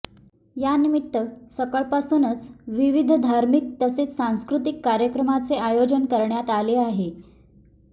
यानिमित्त सकाळपासूनच विविध धार्मिक तसेच सांस्कृतिक कार्यक्रमांचे आयोजन करण्यात आले आहे